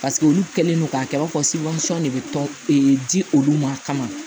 Paseke olu kɛlen don k'a kɛ i b'a fɔ de bɛ tɔn di olu ma kama